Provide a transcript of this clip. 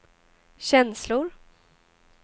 känslor